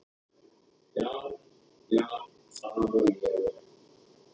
já, já það var ég og.